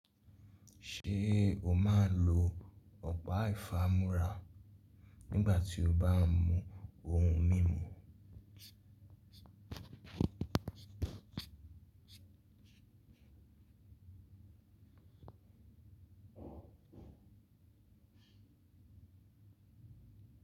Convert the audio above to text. Ṣé o máa ń lo ọ̀pá ìfámúrá nígbà tí o bá ń mu ohun mímu?